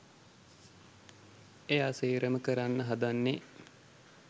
එයා සේරම කරන්න හදන්නෙ